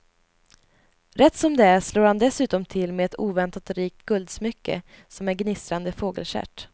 Rätt som det är slår han dessutom till med ett oväntat rikt guldsmycke som en gnistrande fågelstjärt.